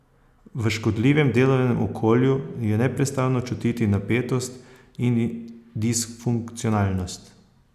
V škodljivem delovnem okolju je neprestano čutiti napetost in disfunkcionalnost.